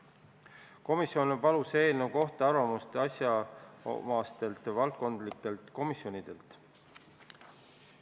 Komisjon palus eelnõu kohta arvamust asjaomastelt valdkondlikelt komisjonidelt.